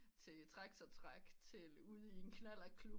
Til traktortræk til ude i en knallert klub